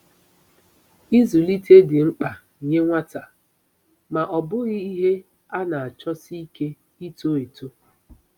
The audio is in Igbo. Ịzụlite dị mkpa nye nwata, ma ọ bụghị ihe a na-achọsi ike ito eto.